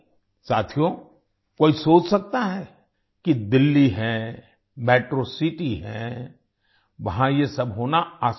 साथियो कोई सोच सकता है कि दिल्ली है मेट्रो सिटी है वहां ये सब होना आसान है